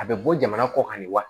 A bɛ bɔ jamana kɔ kan ni wa